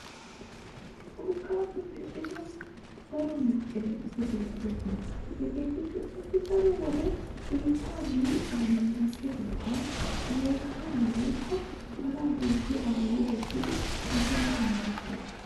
urqqaapppe medhdhido daro mesqqeleetetti beetoosona. hageetikka qassi daro wode biittaa liiqquwan munaqqidoogaa yeechchaa woykko sharaa hiixxidi a boli wottidi asaassi meretees.